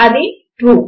అది ట్రూ